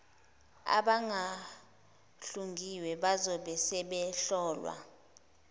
abangahlungiwe bazobe sebehlolwa